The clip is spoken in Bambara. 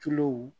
Tulo